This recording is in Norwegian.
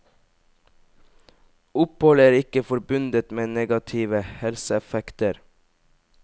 Opphold er ikke forbundet med negative helseeffekter.